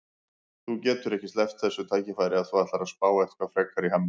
Þú getur ekki sleppt þessu tækifæri ef þú ætlar að spá eitthvað frekar í Hemma.